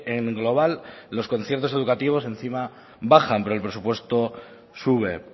en global los conciertos educativos encima bajan pero el presupuesto sube